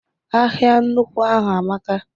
Ahịa nnukwu ahụ amaka.